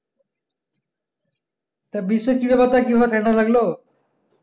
তা বিশ্বের কি ভাবে তা কি ভাবে যে ঠাণ্ডা লাগলো